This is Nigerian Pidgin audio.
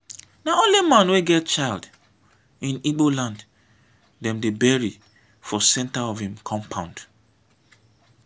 na only man wey get child in igbo land dem dey bury for centre of im compound.